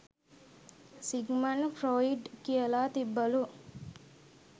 Sigmund Freud කියල තිබ්බලු